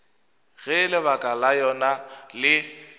ge lebaka la yona le